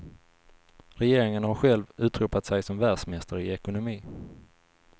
Regeringen har själv utropat sig som världsmästare i ekonomi.